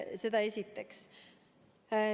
Seda esiteks.